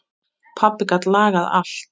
Pabbi gat lagað allt.